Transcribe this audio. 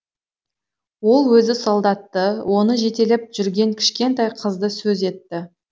ол өзі солдатты оны жетелеп жүрген кішкентай қызды сөз етті